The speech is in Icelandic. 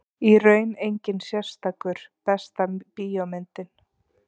Í raun enginn sérstakur Besta bíómyndin?